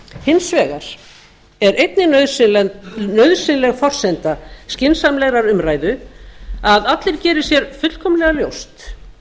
hins vegar er einnig nauðsynleg forsenda skynsamlegrar umræðu að allir geri ber fullkomlega ljóst